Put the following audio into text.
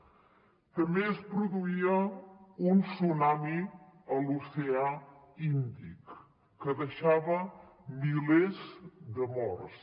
també es produïa un tsunami a l’oceà índic que deixava milers de morts